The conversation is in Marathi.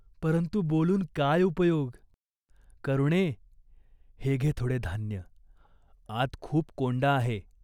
परंतु बोलून काय उपयोग ?" "करुणे, हे घे थोडे धान्य. आत खूप कोंडा आहे.